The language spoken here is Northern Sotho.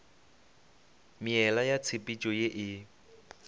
meela ya tshepetšo ye e